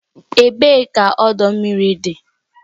Ebee ka ọdọ mmiri dị?